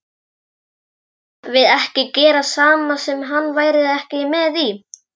Mættum við ekkert gera sem hann væri ekki með í?